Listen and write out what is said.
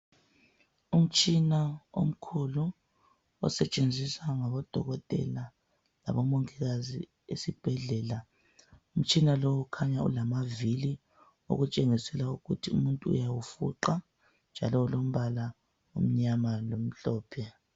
Umtshina omkhulu osetshenziswa ngabodokotela labomongikazi esibhedlela. Umtshina lo ukhanya ulamavili , okutshengisela ukuthi umuntu uyawufuqa, njalo ulombala omnyama lomhlophe.